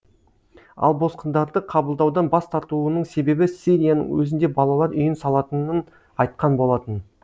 ал босқындарды қабылдаудан бас тартуының себебі сирияның өзінде балалар үйін салатынын айтқан болатын